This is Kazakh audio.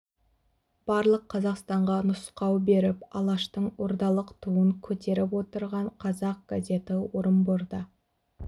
барлық қазақстанға нұсқау беріп алаштың ордалық туын көтеріп отырған қазақ газеті орынборда